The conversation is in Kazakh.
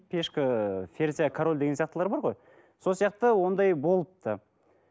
пешка ы король деген сияқтылар бар ғой сол сияқты ондай болыпты